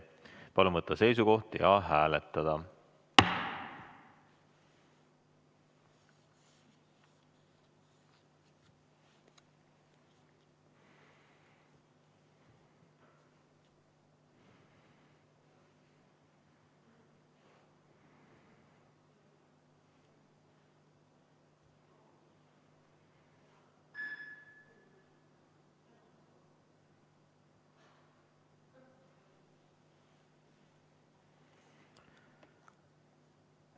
Palun võtta seisukoht ja hääletada!